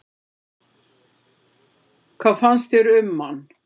Hvað finnst þér um hann?